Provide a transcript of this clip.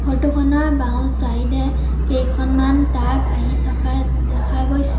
Photo খনৰ বাওঁ side এ কেইখনমান টাক আহি থকা দেখা গৈছে।